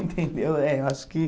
Entendeu? É, eu acho que